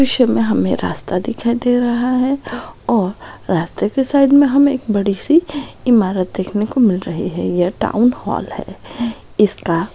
इस दृश्य में हमें रास्ता दिखाई दे रहा है और रास्ते के साइड में हमें एक बड़ी सी इमारत देखने को मिल रही है यह टाउन हॉल है इसका--